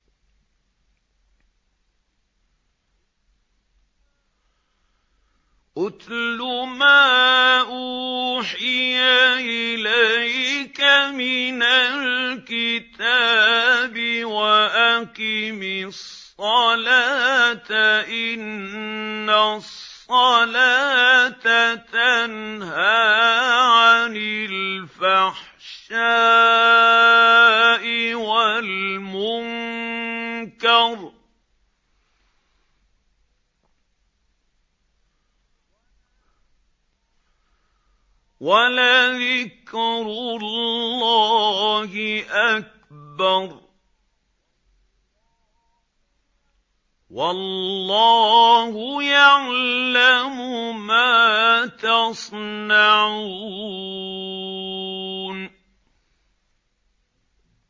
اتْلُ مَا أُوحِيَ إِلَيْكَ مِنَ الْكِتَابِ وَأَقِمِ الصَّلَاةَ ۖ إِنَّ الصَّلَاةَ تَنْهَىٰ عَنِ الْفَحْشَاءِ وَالْمُنكَرِ ۗ وَلَذِكْرُ اللَّهِ أَكْبَرُ ۗ وَاللَّهُ يَعْلَمُ مَا تَصْنَعُونَ